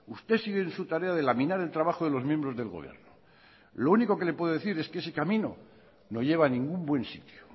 usted sigue en su tarea de laminar el trabajo de los miembros del gobierno lo único que le puedo decir es que ese camino no lleva a ningún buen sitio